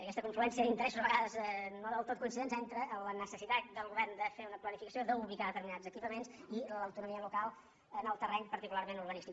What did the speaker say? aquesta confluència d’interessos a vegades no del tot coincidents entre la necessitat del govern de fer una planificació d’ubicar determinats equipaments i l’autonomia local en el terreny particularment urba·nístic